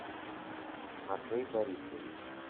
матвей борисович